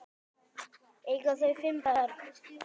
Eiga þau fimm börn.